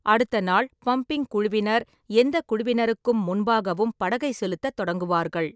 அடுத்த நாள், பம்பிங் குழுவினர் எந்த குழுவினருக்கும் முன்பாகவும் படகை செலுத்தத் தொடங்குவார்கள்.